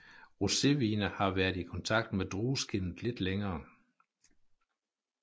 Rosévine har været i kontakt med drueskindet lidt længere